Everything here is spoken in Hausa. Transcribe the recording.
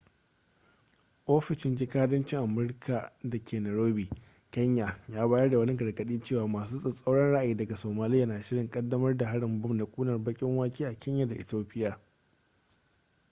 ofishin jikadancin amurika da ke nairobi kenya ya bayar da wani gargaɗi cewa masu tsatsauran ra'ayi daga somaliya na shirin ƙaddamar da harin bom na ƙunar-baƙin-wake a kenya da ethiopia